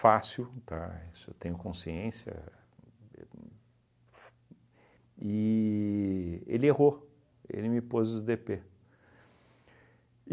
fácil, tá, isso eu tenho consciência, e ele errou, ele me pôs os dê pê.